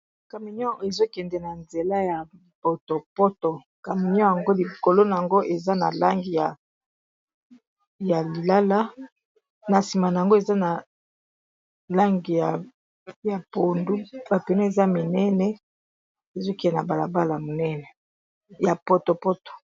camion ezokende na nzela ya potopoto camion yango likolo na yango eza na lange ya lilala na nsima na yango eza na langi ya pondu bapene eza minene ezokende na balabala minene ya potopoto